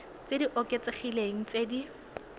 tse di oketsegileng tse di